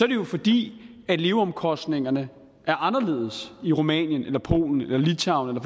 det jo fordi leveomkostningerne er anderledes i rumænien eller polen eller littauen